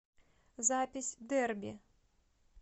запись дерби